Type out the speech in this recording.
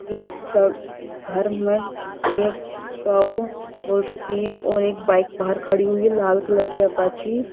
एक घर में ये शॉप खोल रखी है और एक बाइक बाहर खड़ी हुई लाल कलर की अपाची --